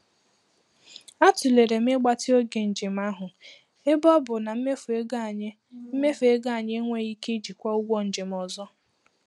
Atụlere m igbatị oge njem ahụ ebe ọ bụ na mmefu ego anyị mmefu ego anyị enweghị ike ijikwa ụgwọ njem ọzọ.